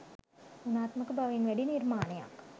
ගුණාත්මක බවින් වැඩි නිර්මාණයක්